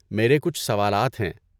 میرے کچھ سوالات ہیں۔